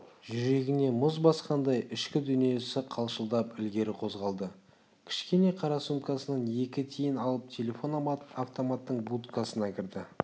жүрегіне мұз басқандай ішкі дүниесі қалшылдап ілгері қозғалды кішкене қара сумкасынан екі тиын алып телефон-автоматтың будкасына кірді